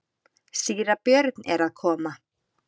Síra Björn er að koma!